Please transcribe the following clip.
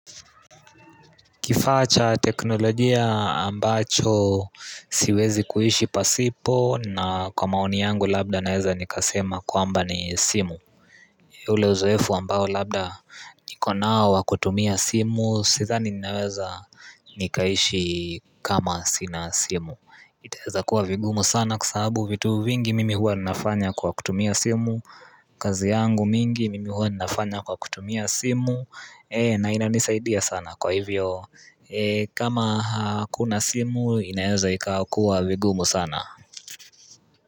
Kifaa cha teknolojia ambacho siwezi kuishi pasipo na kwa maoni yangu labda naweza nikasema kwamba ni simu ule uzoefu ambao labda nikonao wakutumia simu sidhani ninaweza nikaishi kama sina simu itaweza kuwa vigumu sana kwasababuvitu vingi mimi huwa nafanya kwa kutumia simu kazi yangu mingi mimi huwa nafanya kwa kutumia simu na inaanisaidia sana kwa hivyo kama hakuna simu inaweza ikakuwa vigumu sana.